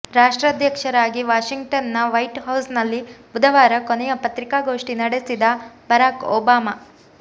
ರಾಷ್ಟ್ರಾಧ್ಯಕ್ಷರಾಗಿ Washington ನ White House ನಲ್ಲಿ ಬುಧವಾರ ಕೊನೆಯ ಪತ್ರಿಕಾ ಗೋಷ್ಠಿ ನಡೆಸಿದ ಬರಾಕ್ ಒಬಾಮ